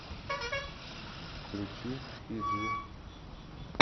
включи фиджи